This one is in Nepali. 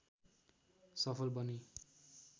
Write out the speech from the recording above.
सफल बने